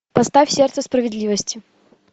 поставь сердце справедливости